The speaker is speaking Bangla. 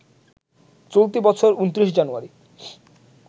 চলতি বছর ২৯ জানুয়ারি